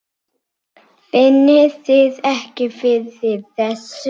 Finnið þið ekki fyrir þessu?